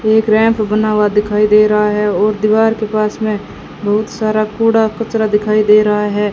एक रैंप बना हुआ दिखाई दे रहा है और दीवार के पास में बहुत सारा कूड़ा कचरा दिखाई दे रहा है।